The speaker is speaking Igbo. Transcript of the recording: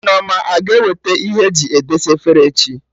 Nneoma a ga-eweta Ihe eji edesa efere echi?